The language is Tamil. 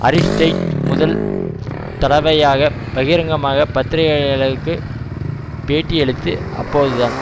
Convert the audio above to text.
அரிஸ்டைட் முதல் தடவையாக பகிரங்கமாக பத்திரிகையாளர்களுக்கு பேட்டியளித்து அப்போதுதான்